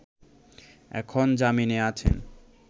এখন জামিনে আছেন